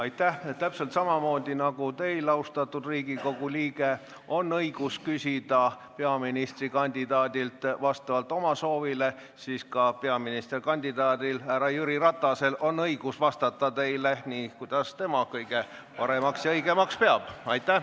Täpselt samamoodi nagu teil, austatud Riigikogu liige, on õigus küsida peaministrikandidaadilt vastavalt oma soovile, on peaministrikandidaadil härra Jüri Ratasel õigus vastata teile nii, kuidas tema kõige paremaks ja õigemaks peab.